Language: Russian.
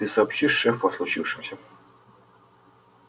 ты сообщишь шефу о случившемся